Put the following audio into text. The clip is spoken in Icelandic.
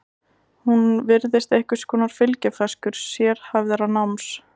Hún virðist einhvers konar fylgifiskur sérhæfðara náms.